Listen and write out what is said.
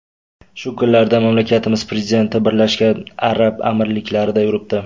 Shu kunlarda mamlakatimiz prezidenti Birlashgan Arab Amirliklarida yuribdi .